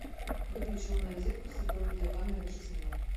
выключи умную розетку с цифровой видеокамерой на шесть минут